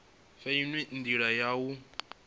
fhe inwe ndila ya u